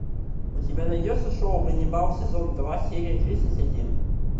у тебя найдется шоу ганнибал сезон два серия тридцать один